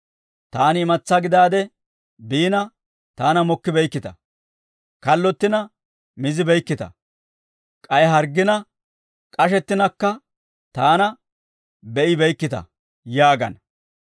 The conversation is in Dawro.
Taani imatsaa gidaade biina, taana mokkibeykkita; kallottina mayzzibeykkita; k'ay harggina, k'ashettinakka taana be'ibeykkita› yaagana.